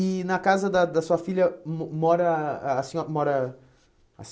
E na casa da da sua filha mo mora a senho mora a